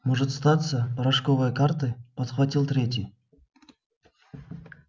может статься порошковые карты подхватил третий